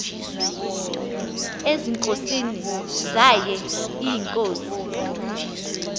ezinkosini zaye iinkosi